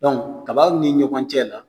kabaaw ni ɲɔgɔn cɛ la